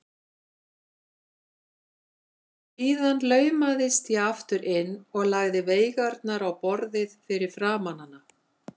Síðan laumaðist ég aftur inn og lagði veigarnar á borðið fyrir framan hana.